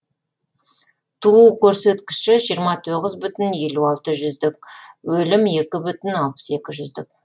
туу көрсіткіші жиырма тоғыз бүтін елу алты жүздік өлім екі бүтін алпыс екі жүздік